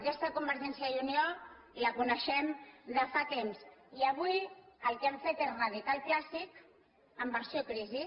aquesta convergència i unió la coneixem de fa temps i avui el que han fet és reeditar el clàssic en versió crisi